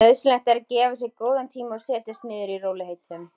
Nauðsynlegt er að gefa sér góðan tíma og setjast niður í rólegheitum.